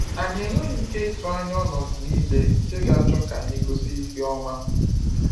Anyị enweghị ike ịtụ anya ọnọdụ niile nke ga-achọ ka anyị gosi ihe ọma.